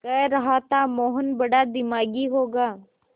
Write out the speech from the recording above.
कह रहा था मोहन बड़ा दिमागी होगा